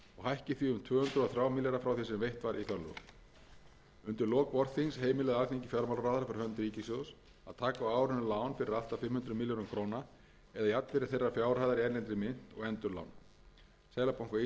hækki því um tvö hundruð og þrjá milljarða frá því sem veitt var í fjárlögum undir lok vorþings heimilaði alþingi fjármálaráðherra fyrir hönd ríkissjóðs að taka á árinu lán fyrir allt að fimm hundruð milljörðum króna eða jafnvirði þeirrar fjárhæðar í erlendri mynt og endurlána seðlabanka íslands þann hluta